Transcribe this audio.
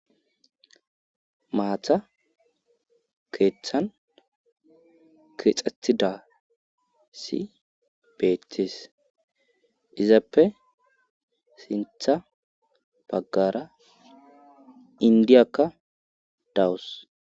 Maatha keeththan keexxethida si beetes izappe sintha baggara indiyakka dawus.